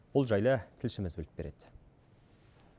бұл жайлы тілшіміз біліп береді